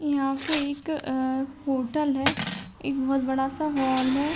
यहाँ पे एक होटल है एक बहुत-बड़ा सा मॉल है।